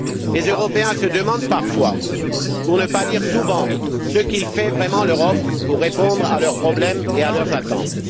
Les Européens se demandent parfois, pour ne pas dire souvent, ce que fait vraiment l'Europe pour répondre à leurs problèmes et à leurs attentes.